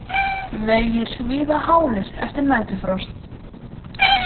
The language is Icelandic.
Vegir víða hálir eftir næturfrost